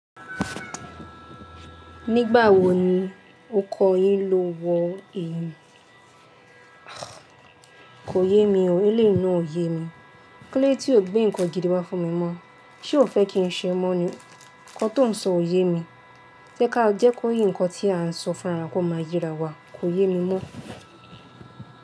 Nígbà wo ni ó kọ́ yín lo wọ èyí? Kò yé mi o, eléyìí o yé mi. Kílódé tí ò gbé nǹkan gidi wá fún mi mọ́, ṣé ò fẹ́ kí n ṣe mọ́ ni? Ǹkan tó n sọ ò yé mi. Jẹ́ ká jẹ́ kó yí ǹkan tí a ń sọ fún ara kò máa yé ara wa, kò yé mi mọ́.